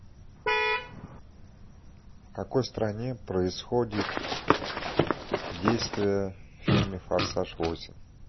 в какой стране происходит действие в фильме форсаж восемь